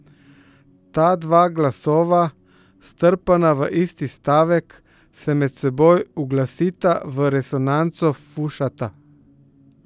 Ta dva glasova, strpana v isti stavek, se med seboj uglasita v resonanco, fušata.